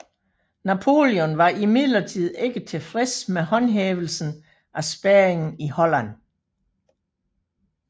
Napoleon var imidlertid ikke tilfreds med håndhævelsen af spærringen i Holland